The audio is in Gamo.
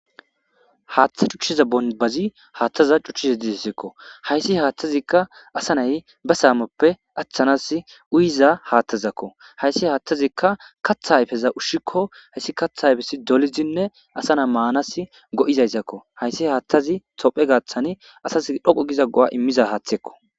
Haaththa cuchchiza bonbazi haaththaza cuchchiza didessekko hayssi haaththazikka asanay ba saamoppe achthanas uyiza haathtazakko hayssi haattazikka katha hayfeza ushshikko hayssi katha hayfes dolizinne asana maanas go7izayszakko hayssi haaththazi tophe gaaththani asas dhoqo giza go7a immiza haaththekko.